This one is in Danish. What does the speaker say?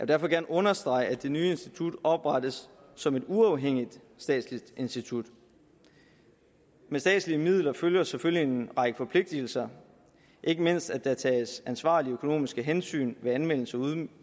derfor gerne understrege at det nye institut oprettes som et uafhængigt statsligt institut med statslige midler følger selvfølgelig en række forpligtelser ikke mindst at der tages ansvarlige økonomiske hensyn ved anvendelsen